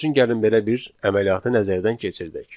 Misal üçün gəlin belə bir əməliyyatı nəzərdən keçirdək.